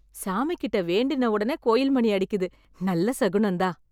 சாமிகிட்ட வேண்டின உடனே கோயில் மணி அடிக்குது, நல்ல சகுனம் தான்.